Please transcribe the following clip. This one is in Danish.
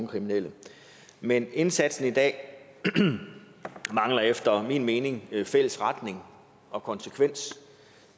kriminelle men indsatsen i dag mangler efter min mening fælles retning og konsekvens